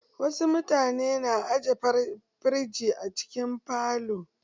Wasu mutane na aje firiji a cikin falo.